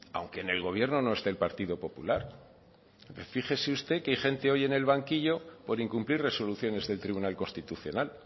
aunque en el gobierno no esté el partido popular fíjese usted que hay gente hoy en el banquillo por incumplir resoluciones del tribunal constitucional